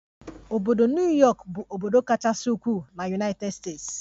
Obodo New Yọkụ bụ obodo kachasị ukwuu na United States.